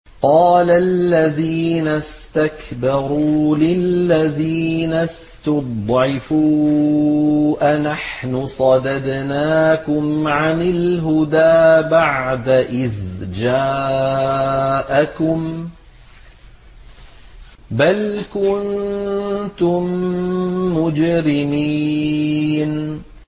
قَالَ الَّذِينَ اسْتَكْبَرُوا لِلَّذِينَ اسْتُضْعِفُوا أَنَحْنُ صَدَدْنَاكُمْ عَنِ الْهُدَىٰ بَعْدَ إِذْ جَاءَكُم ۖ بَلْ كُنتُم مُّجْرِمِينَ